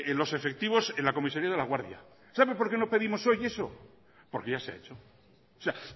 los efectivos en la comisaría de laguardia sabe por qué no pedimos hoy eso porque ya se ha hecho o sea